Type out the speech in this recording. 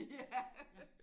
Ja